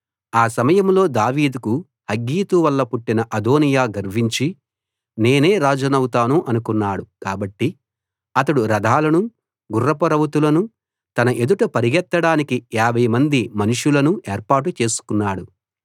ఆ సమయంలో దావీదుకు హగ్గీతు వల్ల పుట్టిన అదోనీయా గర్వించి నేనే రాజునవుతాను అనుకున్నాడు కాబట్టి అతడు రథాలనూ గుర్రపు రౌతులనూ తన ఎదుట పరిగెత్తడానికి 50 మంది మనుషులనూ ఏర్పాటు చేసుకున్నాడు